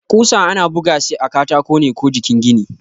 ƙusa ana bugashi a katako ne ko jikin gini.